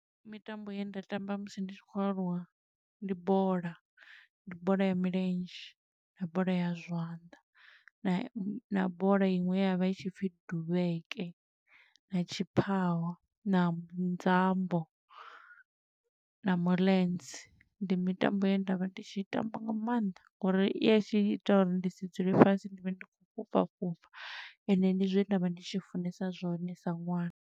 Mitambo ye nda tamba musi ndi tshi khou aluwa ndi bola. Ndi bola ya milenzhe, na bola ya zwanḓa, na bola iṅwe ye ya vha i tshi pfi duvheke, na tshiphaho, na nzambo, na muḽenze. Ndi mitambo ye nda vha ndi tshi tamba nga maanḓa, ngo uri ya tshi ita uri ndi si dzule fhasi, ndi vhe ndi khou fhufha fhufha, ende ndi zwe nda vha ndi tshi funesa zwone sa ṅwana.